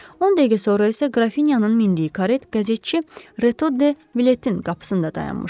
10 dəqiqə sonra isə qrafinyanın mindiyi karet qəzetçi Reto de Biletinin qapısında dayanmışdı.